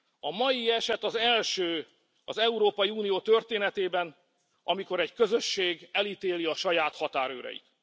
A mai eset az első az Európai Unió történetében, amikor egy közösség elítéli a saját határőreit.